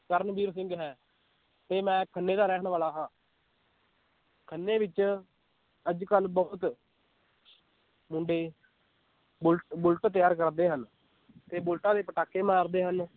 ਕਰਨਵੀਰ ਸਿੰਘ ਹੈ ਤੇ ਮੈ ਖੰਨੇ ਦਾ ਰਹਿਣ ਵਾਲਾ ਹਾਂ ਖੰਨੇ ਵਿਚ ਅੱਜ ਕੱਲ ਬਹੁਤ ਮੁੰਡੇ ਬੁੱਲ ਬੁਲਟ ਤਿਆਰ ਕਰਦੇ ਹਨ ਤੇ ਬੁਲਟਾਂ ਦੇ ਪਟਾਕੇ ਮਾਰਦੇ ਹਨ l